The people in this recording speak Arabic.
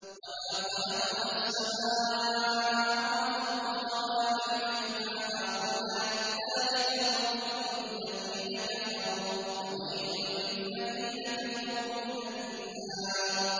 وَمَا خَلَقْنَا السَّمَاءَ وَالْأَرْضَ وَمَا بَيْنَهُمَا بَاطِلًا ۚ ذَٰلِكَ ظَنُّ الَّذِينَ كَفَرُوا ۚ فَوَيْلٌ لِّلَّذِينَ كَفَرُوا مِنَ النَّارِ